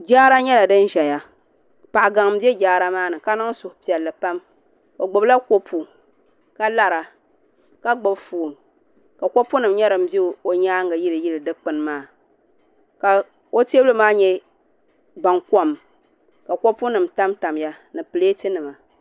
Jaara nyɛla din ʒɛya paɣa gaŋ n bɛ jaara maa ni ka niŋ suhupiɛlli pam o gbubila kopu ka lara ka gbubi foon ka kopu nim bɛ o nyaangi yiliyili dikpuni maa ka o teebuli maa nyɛ baŋkom ka kopu nim tamtamya ni pileeti nima